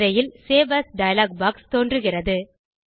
திரையில் save as dialog box தோன்றுகிறது